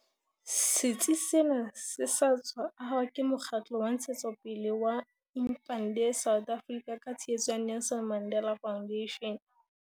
Setsi sena se sa tswa ahwa ke mokgatlo wa ntshetsopele wa Impande South Africa ka tshehetso ya Nelson Mandela Foundation.